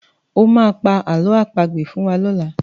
O máa pa àlọ́ àpagbè fún wa lọ́la.